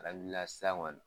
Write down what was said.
A lawulila san ŋɔni